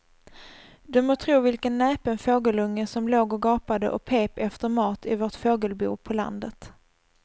Du må tro vilken näpen fågelunge som låg och gapade och pep efter mat i vårt fågelbo på landet.